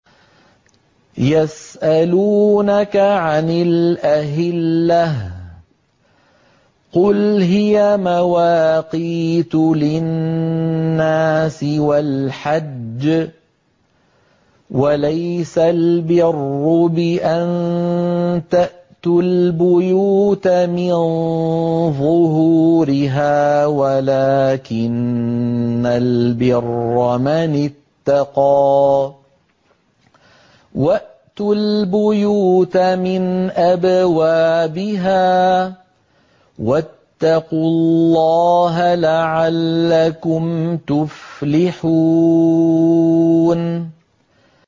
۞ يَسْأَلُونَكَ عَنِ الْأَهِلَّةِ ۖ قُلْ هِيَ مَوَاقِيتُ لِلنَّاسِ وَالْحَجِّ ۗ وَلَيْسَ الْبِرُّ بِأَن تَأْتُوا الْبُيُوتَ مِن ظُهُورِهَا وَلَٰكِنَّ الْبِرَّ مَنِ اتَّقَىٰ ۗ وَأْتُوا الْبُيُوتَ مِنْ أَبْوَابِهَا ۚ وَاتَّقُوا اللَّهَ لَعَلَّكُمْ تُفْلِحُونَ